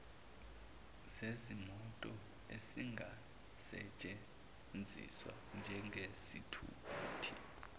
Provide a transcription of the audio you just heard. zezimoto ezingasesthenziswa njengezithuthi